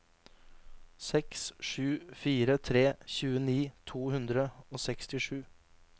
seks sju fire tre tjueni to hundre og sekstisju